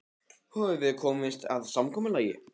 Höfum við komist að samkomulagi?